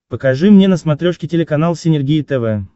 покажи мне на смотрешке телеканал синергия тв